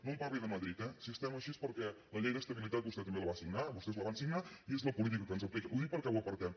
no em parli de madrid eh si estem així és perquè la llei d’estabilitat vostè també la va signar vostès la van signar i és la política que ens apliquen ho dic perquè ho apartem